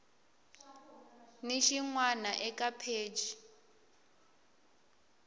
ni xin wana eka pheji